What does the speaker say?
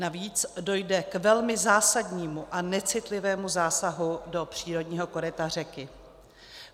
Navíc dojde k velmi zásadnímu a necitlivému zásahu do přírodního koryta řeky.